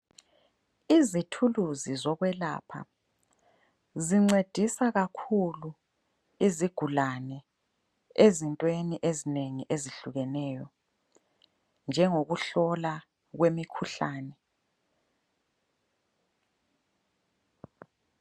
Izithuluzi zokwelapha zincedisa kakhulu izigulane ezintweni ezinengi ezihlukeneyo njengokuhlola kwemikhuhlane.